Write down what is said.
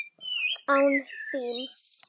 Án þín!